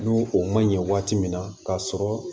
N'u o man ɲɛ waati min na k'a sɔrɔ